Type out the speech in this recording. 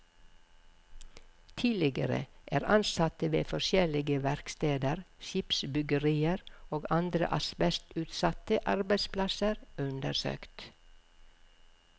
Tidligere er ansatte ved forskjellige verksteder, skipsbyggerier og andre asbestutsatte arbeidsplasser undersøkt.